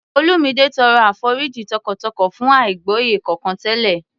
Olumide tọrọ àforíjì tọkàntọkàn fún àìgbọ́yé kankan tẹ́lẹ̀